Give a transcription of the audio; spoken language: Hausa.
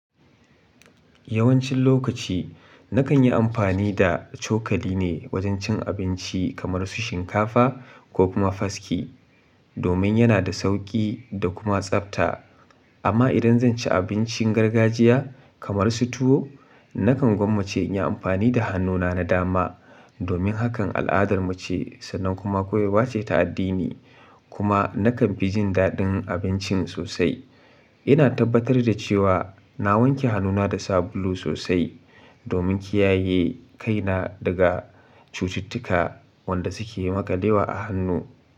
Yawancin lokaci na kan yi amfani da cokali ne wajen cin abinci kamar su shinkafa ko kuma fasci, domin yana da sauƙi da kuma tsabta. Amma idan zan ci abincin gargajiya kamar su tuwo, na kan gwammace in yi amfani da hannuna na dama domin hakan al'adarmu ce sannan kuma koyewa ce ta addini. Kuma na kan fi jin daɗin abincin sosai. Ina tabbatar da cewa na wanke hannuna da sabulu sosai domin kiyaye kaina daga cututtuka wanda suke yi maƙalewa a hannu.